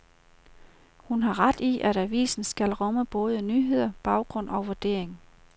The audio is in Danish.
Hun har ret i, at avisen skal rumme både nyheder, baggrund og vurdering.